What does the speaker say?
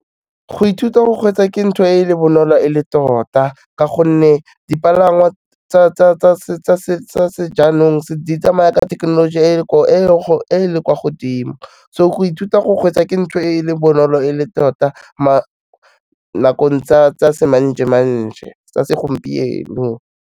Go ithuta go kgweetsa ke ntho e leng bonolo e le tota, ka gonne dipalangwa tsa sejaanong di tsamaya ka thekenoloji e leng kwa godimo so go ithuta go kgweetsa ke ntho e leng bonolo e le tota, nakong tsa semanje-manje, nakong tsa segompieno.